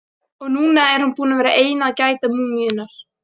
Og núna er hún búin að vera ein að gæta múmíunnar.